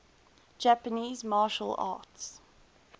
japanese martial arts